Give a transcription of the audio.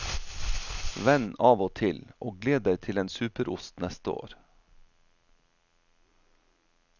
Vend av og til, og gled deg til en superost neste år.